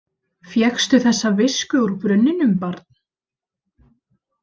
Fékkstu þessa visku úr brunninum, barn?